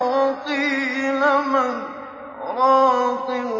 وَقِيلَ مَنْ ۜ رَاقٍ